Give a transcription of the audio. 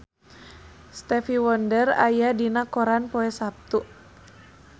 Stevie Wonder aya dina koran poe Saptu